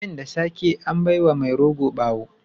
Abin da sake an bai wa mai rogo bawo.